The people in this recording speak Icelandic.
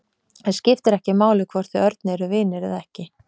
Það skiptir ekki máli hvort þið Örn eruð vinir eða ekki.